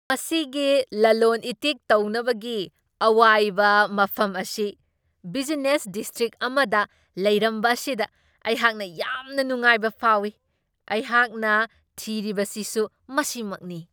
ꯃꯁꯤꯒꯤ ꯂꯂꯣꯟ ꯏꯇꯤꯛ ꯇꯧꯅꯕꯒꯤ ꯑꯋꯥꯏꯕ ꯃꯐꯝ ꯑꯁꯤ ꯕꯤꯖꯤꯅꯦꯁ ꯗꯤꯁꯇ꯭ꯔꯤꯛ ꯑꯃꯗ ꯂꯩꯔꯝꯕ ꯑꯁꯤꯗ ꯑꯩꯍꯥꯛ ꯌꯥꯝꯅ ꯅꯨꯡꯉꯥꯏꯕ ꯐꯥꯎꯢ꯫ ꯑꯩꯍꯥꯛꯅ ꯊꯤꯔꯤꯕꯁꯤꯁꯨ ꯃꯁꯤꯃꯛꯅꯤ꯫